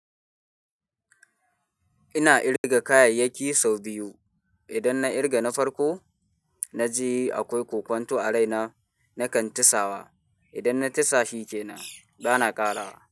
Ina irga kayayyaki sau biyu. Idan na ƙirga na farko, na ji akwai ƙoƙanto a raina, nakan tisawa. Idan na tisa shikenan, bana ƙarawa.